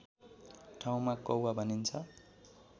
ठाउँमा कौवा भनिन्छ